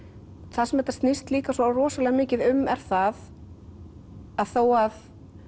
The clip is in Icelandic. það sem þetta snýst líka svo rosalega mikið um er það að þó að